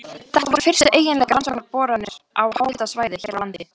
Þetta voru fyrstu eiginlegar rannsóknarboranir á háhitasvæði hér á landi.